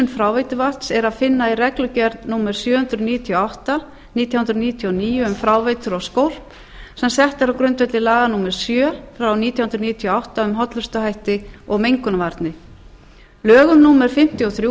fráveituvatns er að finna í reglugerð númer sjö hundruð níutíu og átta nítján hundruð níutíu og níu um fráveitur og skólp sem settar eru á grundvelli laga númer sjö nítján hundruð níutíu og átta um hollustuhætti og mengunarvarnir lögum númer fimmtíu og